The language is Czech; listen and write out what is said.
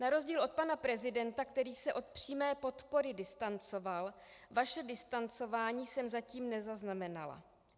Na rozdíl od pana prezidenta, který se od přímé podpory distancoval, vaše distancování jsme zatím nezaznamenala.